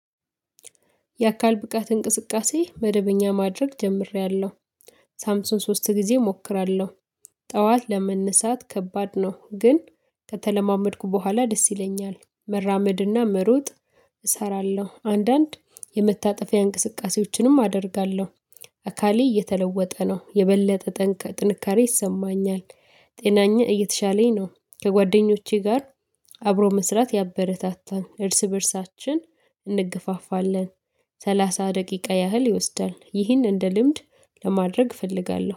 የአካል ብቃት እንቅስቃሴ መደበኛ ማድረግ ጀምሬያለሁ። በሳምንት ሶስት ጊዜ እሞክራለሁ፣ ጠዋት ለመነሳት ከባድ ነው ግን ከተለማመድኩ በኋላ ደስ ይለኛል። መራመድና መሮጥ እሰራለሁ፣ አንዳንድ የመታጠፊያ እንቅስቃሴዎችንም አደርጋለሁ፣ አካሌ እየተለወጠ ነው፣ የበለጠ ጥንካሬ ይሰማኛል፣ ጤናዬ እየተሻለኝ ነው ከጓደኞቼ ጋር አብሮ መስራት ያበረታታል፣ እርስ በእርሳችን እንገፋፋለን፣ ሰላሳ ደቂቃ ያህል ይወስዳል፣ ይህን እንደ ልምድ ለማድረግ እፈልጋለሁ፣